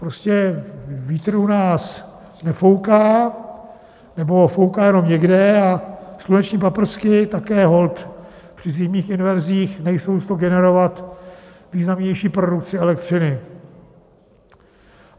Prostě vítr u nás nefouká nebo fouká jenom někde a sluneční paprsky také holt při zimních inverzích nejsou s to generovat významnější produkci elektřiny.